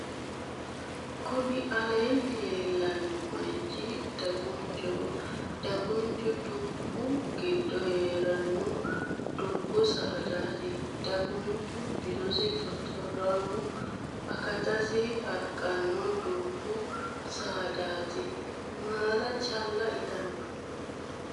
kuni aleenni leellanno moyichi dagunchoho. dagunchu dubbu giddo heeranno dubbu saadati. dagunchu bisosi xoxxoraamu akatissinni harqanno dubbu saadati. maala calla itanno.